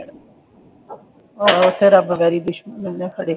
ਆਹੋ ਉਥੇ ਰੱਬ ਕਰੇ ਦੁਸ਼ਮਣ ਵੀ ਨਾ ਖੜ੍ਹੇ।